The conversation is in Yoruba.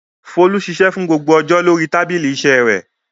Folú ṣiṣẹ́ fún gbogbo ọjọ́ lórí tábìlì iṣẹ́ rẹ̀.